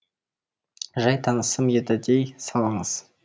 жай танысым еді дей салыңыз